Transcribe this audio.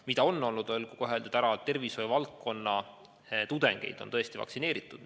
Mida on olnud, olgu kohe ära öeldud, on see, et tervishoiu valdkonna tudengeid on vaktsineeritud.